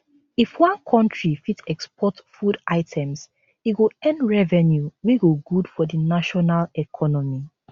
if one country fit export food items e go earn revenue wey go good for di national economy